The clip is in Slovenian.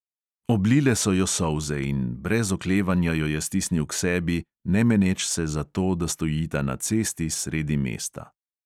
Oblile so jo solze in brez oklevanja jo je stisnil k sebi, ne meneč se za to, da stojita na cesti sredi mesta.